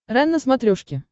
рен на смотрешке